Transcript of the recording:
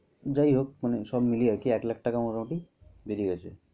যাই হোক মানে সব মিলিয়ে আর কি এক লাখ টাকা মোটামুটি বেশি গেছে।